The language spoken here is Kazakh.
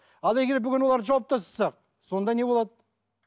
ал егер бүгін оларды жауып тастасақ сонда не болады